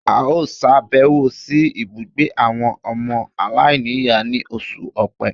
A ó sàbẹ̀wò sí ibùgbé àwọn ọmọ aláìníìyá ní oṣù Òpe